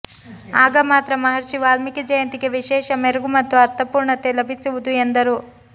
ಆಗ ಮಾತ್ರ ಮಹರ್ಷಿ ವಾಲ್ಮೀಕಿ ಜಯಂತಿಗೆ ವಿಶೇಷ ಮೆರಗು ಮತ್ತು ಅರ್ಥ ಪೂರ್ಣತೆ ಲಭಿಸುವುದು ಎಂದರು